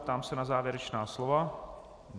Ptám se na závěrečná slova.